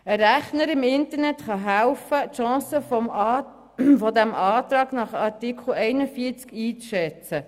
Ein Rechner im Internet kann helfen, die Chancen eines Antrags nach Artikel 41 einzuschätzen.